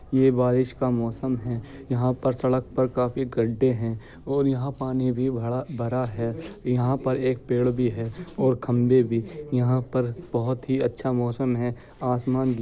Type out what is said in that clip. ये बारिस का मौसम है यहां पर सड़क पर काफी गड्डे है और यहां पानी भी भड़ा भरा है यहां पर एक पेड़ भी है और खंबे भी यहां पर बोहोत ही अच्छा मौसम है आसमान भी--